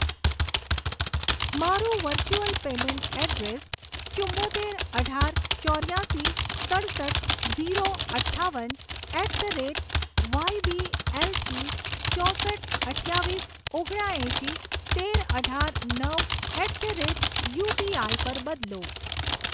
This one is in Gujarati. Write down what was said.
મારું વર્ચુઅલ પેમેન્ટ એડ્રેસ ચુંમોતેર અઢાર ચોર્યાસી સડસઠ ઝીરો અઠ્ઠાવન at the rate Y B એલથી ચોસઠ અઠ્યાવીસ ઓગણા એંસી તેર અઢાર નવ at the rate U P I પર બદલો